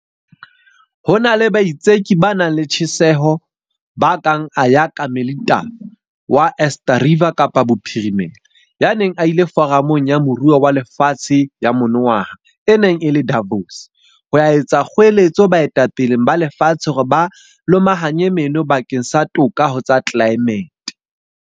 Ho na le baitseki ba nang le tjheseho ba kang Ayakha Melithafa wa Eerste Rivier Kapa Bophirimela, ya neng a ile Foramong ya Moruo wa Lefatshe ya monongwaha e neng e le Davos, ho ya etsa kgoeletso baetapeleng ba lefatshe hore ba lomahanye meno bakeng sa toka ho tsa tlelaemete.